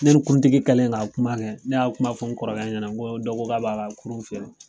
Ne ni kuruntigi kɛlen k'a kuma kɛ ne y'a kuma fɔ n kɔrɔkɛ ɲɛna n ko dɔ ko k'a b'a ka kurun feere.